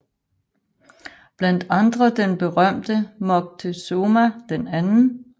Blandt andre den berømte Moctezuma II